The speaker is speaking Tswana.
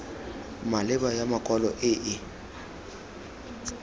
maleba ya makwalo e e